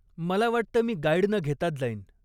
मला वाटतं मी गाईड न घेताच जाईन.